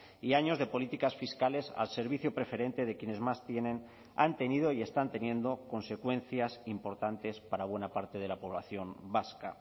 y años de políticas fiscales al servicio preferente de quienes más tienen han tenido y están teniendo consecuencias importantes para buena parte de la población vasca